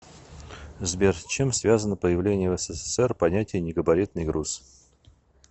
сбер с чем связано появление в ссср понятия негабаритный груз